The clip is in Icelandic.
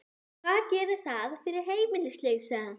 Hvað gerir það fyrir heimilislausa?